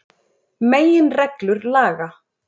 Meginreglur laga.